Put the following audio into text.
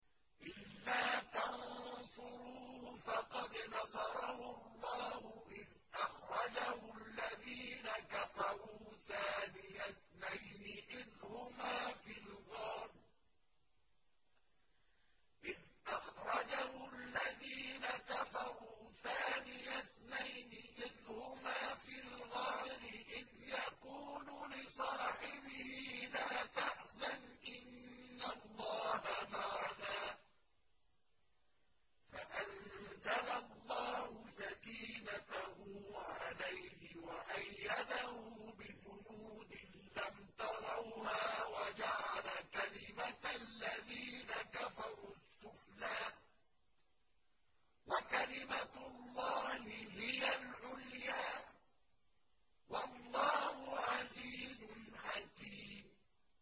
إِلَّا تَنصُرُوهُ فَقَدْ نَصَرَهُ اللَّهُ إِذْ أَخْرَجَهُ الَّذِينَ كَفَرُوا ثَانِيَ اثْنَيْنِ إِذْ هُمَا فِي الْغَارِ إِذْ يَقُولُ لِصَاحِبِهِ لَا تَحْزَنْ إِنَّ اللَّهَ مَعَنَا ۖ فَأَنزَلَ اللَّهُ سَكِينَتَهُ عَلَيْهِ وَأَيَّدَهُ بِجُنُودٍ لَّمْ تَرَوْهَا وَجَعَلَ كَلِمَةَ الَّذِينَ كَفَرُوا السُّفْلَىٰ ۗ وَكَلِمَةُ اللَّهِ هِيَ الْعُلْيَا ۗ وَاللَّهُ عَزِيزٌ حَكِيمٌ